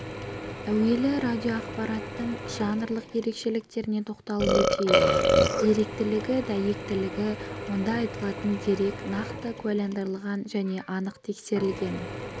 әуелі радиоақпараттың жанрлық ерекшеліктеріне тоқталып өтейік деректілігі дәйектілігі онда айтылатын дерек нақты куәландырылған және анық тексерілген